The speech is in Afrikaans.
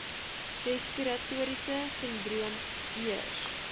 respiratoriese sindroom ears